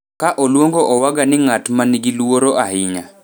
ka oluongo Owaga ni ng'at ma nigi luoro ahinya